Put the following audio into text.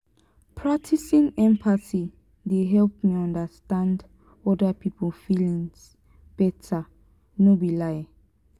practicing empathy dey help me understand oda pipo feelings beta no be lie.